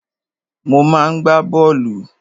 Mo máa ń gbá bọ́ọ̀lù.